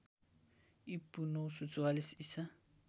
ईपू ९४४ ईसा